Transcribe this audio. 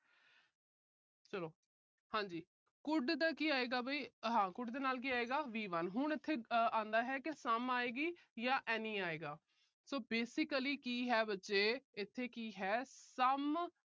ਚਲੋ। ਹਾਂ ਜੀ। could ਦਾ ਕੀ ਆਏਗਾ ਵੀ। ਹਾਂ could ਦੇ ਨਾਲ ਕੀ ਆਏਗਾ V one ਹੁਣ ਇੱਥੇ ਆਉਂਦਾ ਹੈ ਕਿ some ਆਏਗੀ ਜਾਂ any ਆਏਗਾ। so basically ਕੀ ਹੈ ਬੱਚੇ, ਇੱਥੇ ਕੀ ਹੈ some